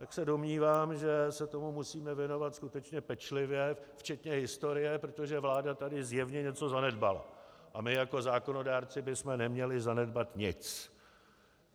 Tak se domnívám, že se tomu musíme věnovat skutečně pečlivě včetně historie, protože vláda tady zjevně něco zanedbala a my jako zákonodárci bychom neměli zanedbat nic.